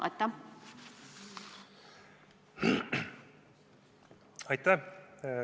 Aitäh!